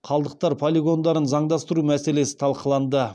қалдықтар полигондарын заңдастыру мәселесі талқыланды